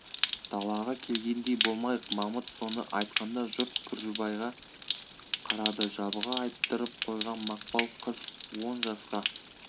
далаға келгендей болмайық мамыт соны айтқанда жұрт күржібайға қарады жабыға айттырып қойған мақпал қыз он жасқа